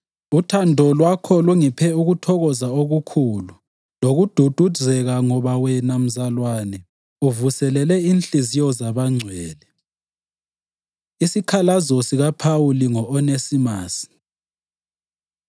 Uthando lwakho lungiphe ukuthokoza okukhulu lokududuzeka ngoba wena, mzalwane, uvuselele inhliziyo zabangcwele. Isikhalazo SikaPhawuli Ngo-Onesimasi